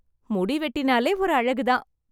முடிவெட்டினாலே ஒரு அழகு தான்.